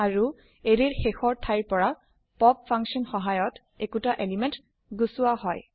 আৰু এৰে ৰ শেষৰ থাইৰ পৰা পপ ফাংচন সহায়ত একোটা এলিমেন্ট গুচোৱা হয়